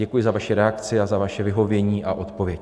Děkuji za vaši reakci a za vaše vyhovění a odpověď.